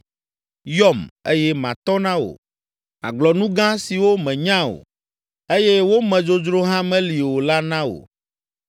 ‘Yɔm, eye matɔ na wò, magblɔ nu gã siwo mènya o, eye wo me dzodzro hã meli o la na wò!’